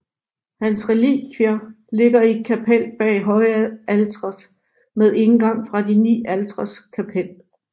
Hans relikvier ligger i et kapel bag højalteret med indgang fra De ni altres kapel